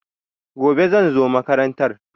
Gobe, zan zo makarantar.